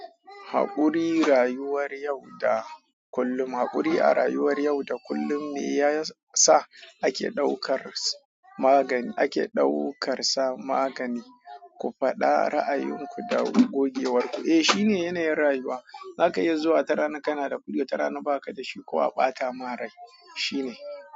Haƙuri rayuwar yau da kullum. Haƙuri a rayuwar yau da kullum yasa ake ɗaukar sa magani, ake ɗaukar sa magani, ku faɗa ra'ayinku da gogewar ku. Eh shine yanayin rayuwa, zaka iya zuwa wata rana kana da kuɗi, wata rana ba ka da shi ko a ɓata ma rai. Shine.